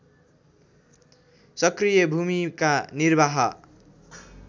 सक्रिय भूमिका निर्वाह